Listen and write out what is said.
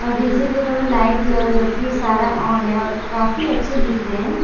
और डी_जे के ऊपर में लाइट दिया हुआ जो कि सारा ऑन है और काफी अच्छे दिख रहे हैं।